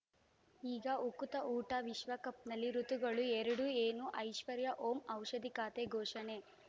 ಈಗ ಉಕುತ ಊಟ ವಿಶ್ವಕಪ್‌ನಲ್ಲಿ ಋತುಗಳು ಎರಡು ಏನು ಐಶ್ವರ್ಯಾ ಓಂ ಔಷಧಿ ಖಾತೆ ಘೋಷಣೆ